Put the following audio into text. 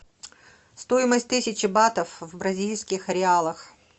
стоимость тысячи батов в бразильских реалах